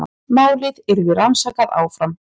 Málið yrði rannsakað áfram